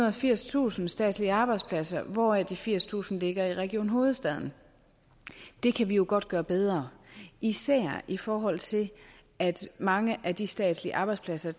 og firstusind statslige arbejdspladser hvoraf de firstusind ligger i region hovedstaden det kan vi jo godt gøre bedre især i forhold til at mange af de statslige arbejdspladser